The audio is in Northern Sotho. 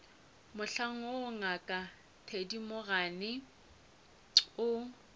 mohlang woo ngaka thedimogane o